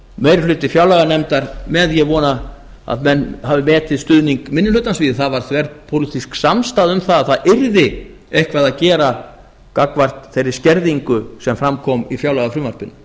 meiri hluti fjárlaganefndar með ég vona að menn hafi metið stuðning minni hlutans því að það var þverpólitísk samstaða um að það yrði eitthvað að gera gagnvart þeirri skerðingu sem fram kom í fjárlagafrumvarpinu